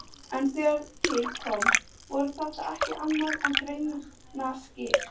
En þegar til kom voru þetta ekki annað en greinaskil.